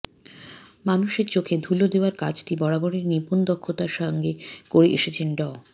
মানুষের চোখে ধুলো দেওয়ার কাজটি বরাবরই নিপুণ দক্ষতার সঙ্গে করে এসেছেন ড